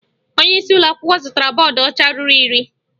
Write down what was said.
Onyeisi ụlọakwụkwọ zụtara bọọdụ ọcha ruru iri